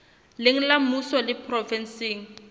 leng la mmuso le provenseng